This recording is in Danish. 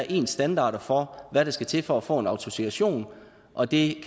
en standard for hvad der skal til for at få en autorisation og det